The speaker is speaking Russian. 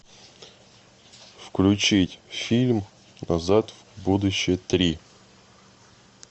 включить фильм назад в будущее три